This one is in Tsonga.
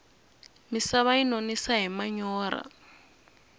misava yi nonisa hi manyorha